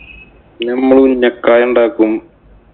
പിന്നെ നമ്മള് ഉന്നക്കായ ഉണ്ടാക്കും.